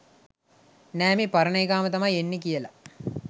නෑ මේ පරණ එකාම තමයි එන්නෙ කියලා.